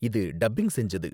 இது டப்பிங் செஞ்சது.